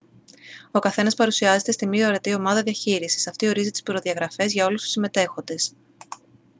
ο καθένας παρουσιάζεται στην «μη ορατή ομάδα» διαχείρισης. αυτή ορίζει τις προδιαγραφές για όλους τους συμμετέχοντες